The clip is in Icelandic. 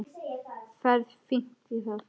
Ferð fínt í það.